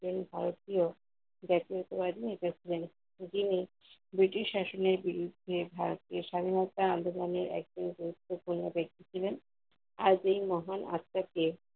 ভারতীয় বাদি নেতা ছিলেন। যিনি ব্রিটিশ শাসনের বিরুদ্ধে ভারতের স্বাধীনতা আন্দলনে একজন গুরুত্বপূর্ণ ব্যাক্তি ছিলেন। আজ এই মহান আত্মাকে